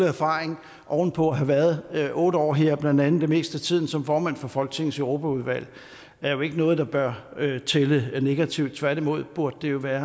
erfaring oven på at have været otte år her blandt andet det meste af tiden som formand for folketingets europaudvalg er jo ikke noget der bør tælle negativt tværtimod burde det jo være